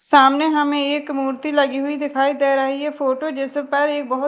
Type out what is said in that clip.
सामने हमें एक मूर्ति लगी हुई दिखाई दे रही है फोटो जिस पर एक बहुत--